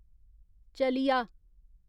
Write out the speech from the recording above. चलिया